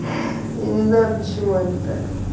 я не знаю почему они так